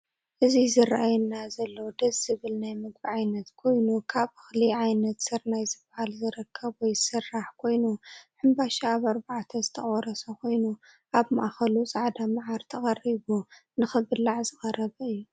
እዚ ዝርኣየና ዘሎ ድስ ዝብል ናይ ምግብ ዓይነት ኮይኑ ካብ እክሊ ዓይነት ስርናይ ዝበሃልዝርከብ ወይ ዝስራሕ ኮይኑ ሕንበሻ ኣብ ኣርባዕተ ዝተቆረሰ ኮይኑ ኣብ ማእክሉ ፃዕዳ ማዓር ተቀሪቡ ንክብላዕ ዝቀረበ እዩ።